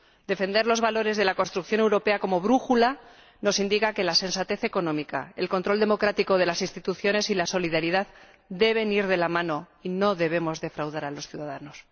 Defender los valores de la construcción europea como brújula nos indica que la sensatez económica, el control democrático de las instituciones y la solidaridad deben ir de la mano, y no debemos defraudar a los ciudadanos.